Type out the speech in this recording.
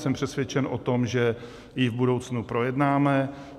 Jsem přesvědčen o tom, že ji v budoucnu projednáme.